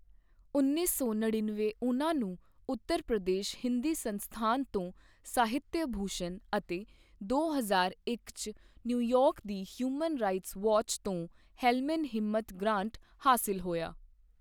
ਉੱਨੀ ਸੌ ਨੜੇਨਵੇ ਉਹਨਾਂ ਨੂੰ ਉੱਤਰ ਪ੍ਰਦੇਸ਼ ਹਿੰਦੀ ਸੰਸਥਾਨ ਤੋਂ ਸਾਹਿਤ੍ਯ ਭੂਸ਼ਣ ਅਤੇ ਦੋ ਹਜ਼ਾਰ ਇੱਕ 'ਚ ਨਿਊਯਾਰਕ ਦੀ ਹਿਊਮਨ ਰਾਈਟਸ ਵਾਚ ਤੋਂ ਹੈਲ੍ਮਨ ਹਿਮਤ ਗ੍ਰਾੰਟ ਹਾਸਿਲ ਹੋਇਆ।